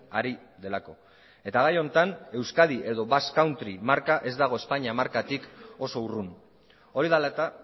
ari delako eta gai honetan euskadi edo basque country marka ez dago espainia markatik oso urrun hori dela eta